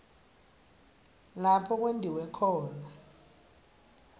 lapho kwentiwe khona